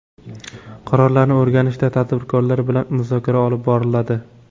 Qarorlarni o‘rganishda tadbirkorlar bilan muzokara olib boriladi.